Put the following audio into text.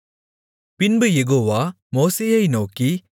பின்பு யெகோவா மோசேயை நோக்கி